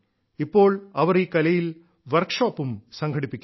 ഇപ്പോൾ അവർ ഈ കലയിൽ വർക്ക്ഷോപ്പും സംഘടിപ്പിക്കുന്നു